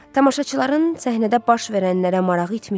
Tamaşaçıların səhnədə baş verənlərə marağı itmişdi.